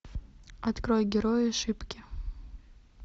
открой герои шипки